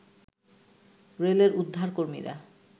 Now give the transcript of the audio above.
রেলের উদ্ধারকর্মীরা